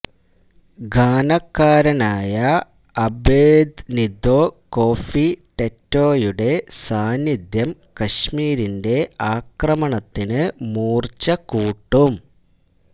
ഘാനക്കാരനായ Abednego Kofi ടെറ്റേയുടെ സാന്നിധ്യം കശ്മീരിന്റെ ആക്രമണത്തിന് മൂര്ച്ച കൂട്ടും